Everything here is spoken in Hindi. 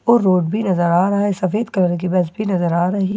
और रोड भी नजर आ रहा है सफेद कलर की बस भी नजर आ रही है।